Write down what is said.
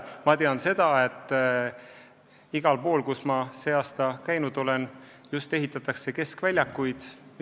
Ma tean seda, et igal pool, kus ma sel aastal käinud olen, ehitatakse keskväljakuid.